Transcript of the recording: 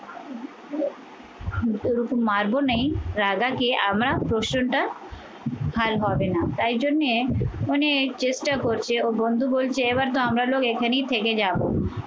মারবো নেই রাজাকে আমরা প্রশ্নটা হাল হবে না। তাই জন্যে অনেক চেষ্টা করছে ও বন্ধু বলছে এবার তো আমরা লোক এখানেই থেকে যাব